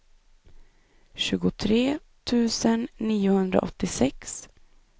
tjugotre tusen niohundraåttiosex